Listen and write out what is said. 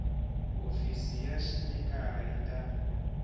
hofisi ya xipikara yi ta